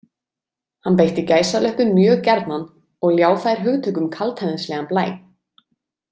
Hann beitti gæsalöppum mjög gjarnan og ljá þær hugtökum kaldhæðnislegan blæ.